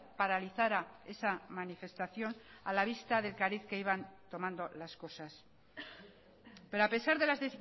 paralizara esa manifestación a la vista del cariz que iban tomando las cosas pero a pesar de las